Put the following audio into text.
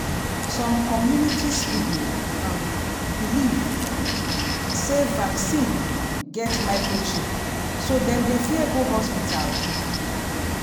some communities people um believe um sey vaccine get microchip so dem dey fear go hospital quick.